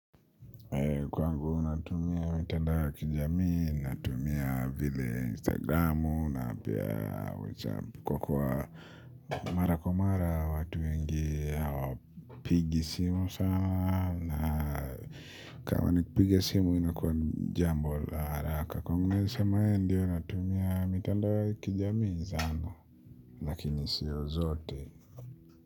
Kwangu unatumia mitandao wa kijamii, natumia vile instagramu na pia whatsapp. Kwa kuwa mara kwa mara watu wengi hawapigi simu sana. Na kama nikupiga simu ino kwa jambo la haraka kwangu nisema ye ndio natumia mitandao wa kijamii zana. Lakini siyo zote.